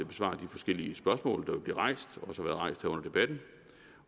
besvare de forskellige spørgsmål der vil blive rejst